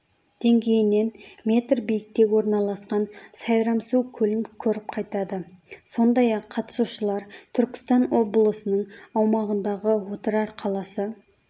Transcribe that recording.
деңгейінен метр биікте орналасқан сайрамсу көлін көріп қайтады сондай-ақ қатысушылар түркістан облысының аумағындағы отырар қаласы